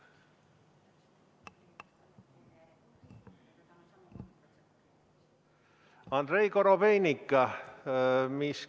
Andrei Korobeinik.